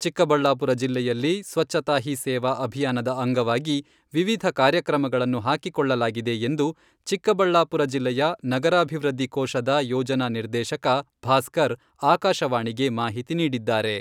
ಚಿಕ್ಕಬಳ್ಳಾಪುರ ಜಿಲ್ಲೆಯಲ್ಲಿ ಸ್ವಚ್ಛತಾ ಹೀ ಸೇವಾ ಅಭಿಯಾನದ ಅಂಗವಾಗಿ ವಿವಿಧ ಕಾರ್ಯಕ್ರಮಗಳನ್ನು ಹಾಕಿಕೊಳ್ಳಲಾಗಿದೆ ಎಂದು ಚಿಕ್ಕಬಳ್ಳಾಪುರ ಜಿಲ್ಲೆಯ ನಗರಾಭಿವೃದ್ಧಿ ಕೋಶದ ಯೋಜನಾ ನಿರ್ದೇಶಕ ಭಾಸ್ಕರ್ ಆಕಾಶವಾಣಿಗೆ ಮಾಹಿತಿ ನೀಡಿದ್ದಾರೆ.